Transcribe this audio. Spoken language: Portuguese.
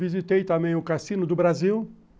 Visitei também o Cassino do Brasil.